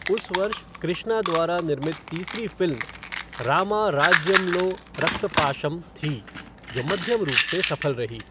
उस वर्ष कृष्णा द्वारा निर्मित तीसरी फ़िल्म 'रामा राज्यम्लो रक्तपाशम' थी, जो मध्यम रूप से सफल रही।